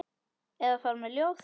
Eða fara með ljóð.